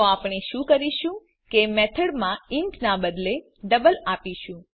તો આપણે શુ કરીશું કે મેથડમાં ઇન્ટ નાં બદલે ડબલ આપીશું